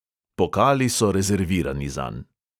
Pokali so rezervirani zanj.